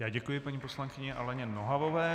Já děkuji paní poslankyni Aleně Nohavové.